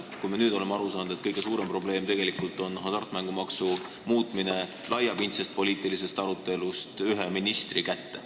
Me oleme nüüd ju aru saanud, et kõige suurem probleem on tegelikult hasartmängumaksu jagamise muutmine: see läheb laiapindse poliitilise arutelu tasemelt ühe ministri kätte.